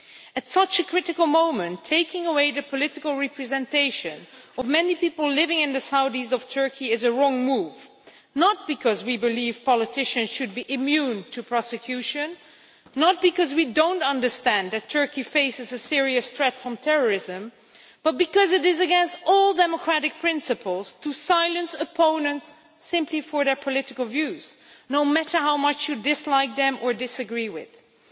At such a critical moment, taking away the political representation of many people living in the south east of Turkey is a wrong move, not because we believe politicians should be immune to prosecution, not because we do not understand that Turkey faces a serious threat from terrorism, but because it is against all democratic principles to silence opponents simply for their political views, no matter how much you dislike them or disagree with them.